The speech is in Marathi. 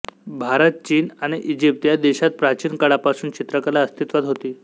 भारत चीन आणि इजिप्त या देशात प्राचीन काळापासून चित्रकला अस्तित्वात होती